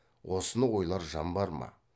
осыны ойлар жан бар ма